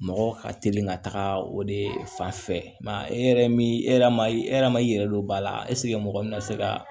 Mɔgɔ ka teli ka taga o de fan fɛ e yɛrɛ min e yɛrɛ ma e yɛrɛ ma i yɛrɛ don ba la mɔgɔ min bɛ se ka